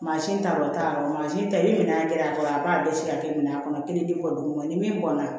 Mansin ta o t'a yɔrɔ mansin ta ni minɛn jɛra a kɔrɔ a b'a bɛɛ si ka kɛ minɛn kɔnɔ kelen di kɔ don o ma ni min bɔnna